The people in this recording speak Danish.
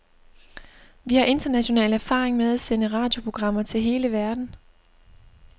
Vi har international erfaring med at sende radioprogrammer til hele verden.